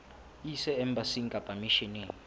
e ise embasing kapa misheneng